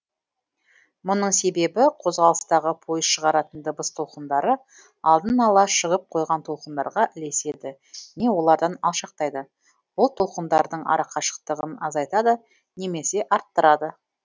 мұның себебі қозғалыстағы пойыз шығаратын дыбыс толқындары алдын ала шығып қойған толқындарға ілеседі не олардан алшақтайды бұл толқындардың арақашықтығын азайтады немесе арттырады